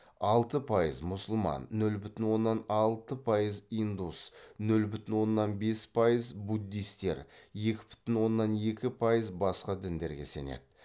алты пайыз мұсылман нөл бүтін оннан алты пайыз индус нөл бүтін оннан бес пайыз буддистер екі бүтін оннан екі пайыз басқа діндерге сенеді